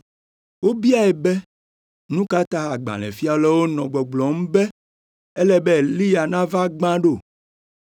Wobiae be, “Nu ka ta agbalẽfialawo nɔa gbɔgblɔm be ele be Eliya nava gbã ɖo?”